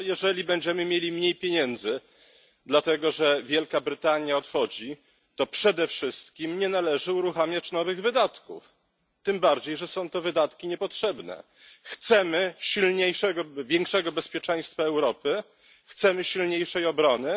No, jeżeli będziemy mieli mniej pieniędzy dlatego, że Wielka Brytania odchodzi, to przede wszystkim nie należy uruchamiać nowych wydatków, tym bardziej, że są to wydatki niepotrzebne. Chcemy silniejszego, większego bezpieczeństwa Europy, chcemy silniejszej obrony.